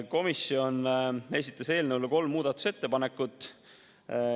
Komisjon esitas eelnõu kohta kolm muudatusettepanekut.